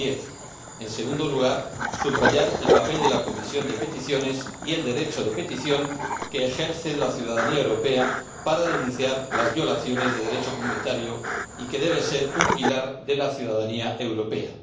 2010 en segundo lugar, subrayar el papel de la Comisión de Peticiones y el derecho de petición que ejerce la ciudadanía europea para denunciar las violaciones de Derecho comunitario y que debe ser un pilar de la ciudadanía europea